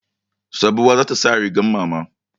Sabuwa za ta sa rigar mama.